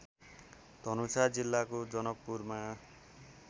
धनुषा जिल्लाको जनकपुरमा